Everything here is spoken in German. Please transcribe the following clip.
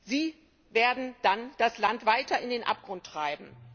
Sie werden dann das Land weiter in den Abgrund treiben.